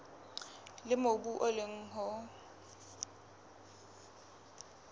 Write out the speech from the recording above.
leo mobu o leng ho